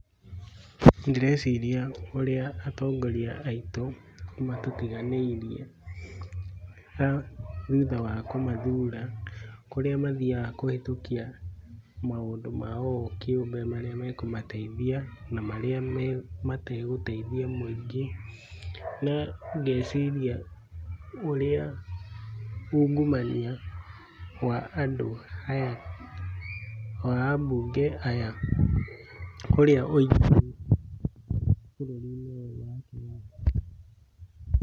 Ndĩreciria ũrĩa atongoria aitũ matũtiganĩirie thutha wa kũmathura kũrĩa mathiaga kũhĩtũkia maũndũ mao o kĩũmbe marĩa makũmateithia na marĩa mategũteithia mũingĩ. Na ngeciria ũrĩa ungumania wa andũ aya wa ambunge aya burũri-inĩ ũyũ witũ wa Kenya.